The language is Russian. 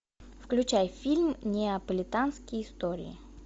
включай фильм неаполитанские истории